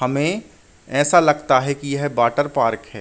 हमें ऐसा लगता है कि यह वाटर पार्क है।